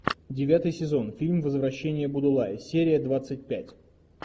девятый сезон фильм возвращение будулая серия двадцать пять